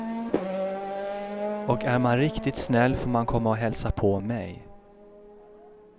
Och är man riktigt snäll får man komma och hälsa på mig.